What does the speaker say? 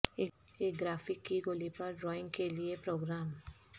ایک گرافک کی گولی پر ڈرائنگ کے لئے پروگرام